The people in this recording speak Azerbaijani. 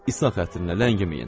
İsa xatirinə, ləngiməyin.